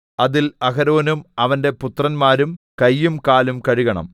അതിൽ അഹരോനും അവന്റെ പുത്രന്മാരും കയ്യും കാലും കഴുകണം